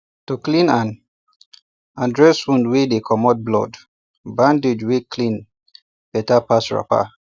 to clean and and dress wound wey dey commot blood bandage wey clean better pass wrapper